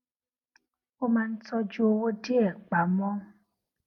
ó máa ń tójú owó díè pa mó